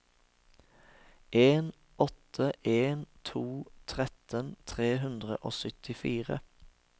en åtte en to tretten tre hundre og syttifire